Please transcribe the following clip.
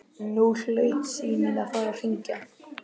Nú hlaut síminn að fara að hringja.